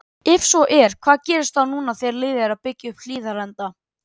Ef svo er, hvað gerist þá núna þegar liðið er að byggja upp Hlíðarenda?!